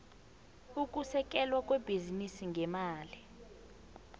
ukusekelwa kwebhizinisi ngemali